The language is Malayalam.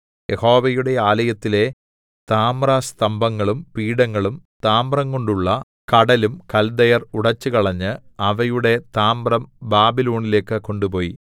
യഹോവയുടെ ആലയത്തിലെ താമ്രസ്തംഭങ്ങളും പീഠങ്ങളും താമ്രംകൊണ്ടുള്ള കടലും കൽദയർ ഉടെച്ചുകളഞ്ഞ് അവയുടെ താമ്രം ബാബിലോണിലേക്ക് കൊണ്ടുപോയി